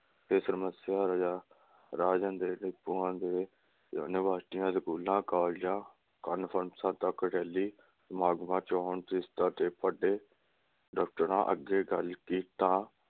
ਇਸ ਸਮਸਿਆ ਦਾ ਰਾਸ਼ਨ ਦੇ ਡਿਪੂਆਂ ਤੇ ਯੂਨੀਵਰਸਿਟੀਆਂ, ਸਕੂਲਾਂ, ਕਾਲਜਾਂ, ਕੋਨਫਰੈਂਸਾਂ ਤਕ ਰੈਲ਼ੀ ਸਮਾਗਮਾਂ, ਚੋਣ ਦਫਤਰ ਅੱਗੇ ਗੱਲ ਕੀਤਾ